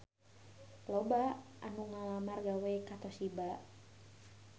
Loba anu ngalamar gawe ka Toshiba